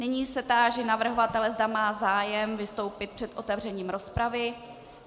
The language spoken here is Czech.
Nyní se táži navrhovatele, zda má zájem vystoupil před otevřením rozpravy.